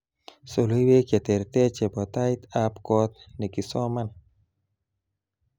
Soloiwek chetertar chebo taitb kot nekisoman